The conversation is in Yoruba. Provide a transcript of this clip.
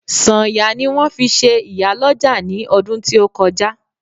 Sanya ni won fi se iyaloja ni odun ti o koja